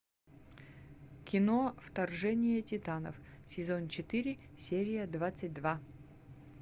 кино вторжение титанов сезон четыре серия двадцать два